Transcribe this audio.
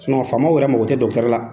faamaw yɛrɛ mago tɛ la.